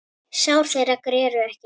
Sár þeirra greru ekki.